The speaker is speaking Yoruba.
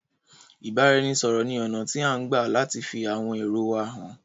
Ìbáranisọ̀rọ̀ ní ọ̀nà tí à ń gbà láti fi àwọn èrò wa hàn.